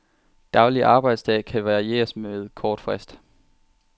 Daglig arbejdsdag kan varieres med kort frist.